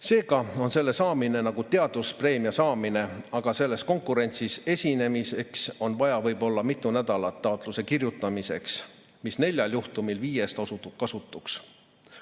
Seega on selle saamine nagu teaduspreemia saamine, aga selles konkurentsis esinemiseks on vaja võib-olla mitu nädalat taotluse kirjutamiseks, mis neljal juhtumil viiest osutub kasutuks.